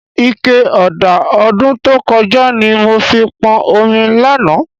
Ike ọ̀dà ọdún tó kọjá ni mo fi pọn omi lánàá